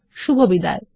শুভবিদায়